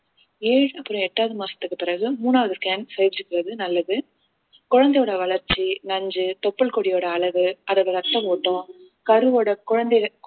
ஏழு அப்பறம் எட்டாவது மாசத்துக்கு பிறகு மூணாவது scan நல்லது குழந்தையோட வளர்ச்சி நஞ்சு தொப்புள் கொடியோட அளவு அதோட இரத்த ஓட்டம் கருவோட குழந்தை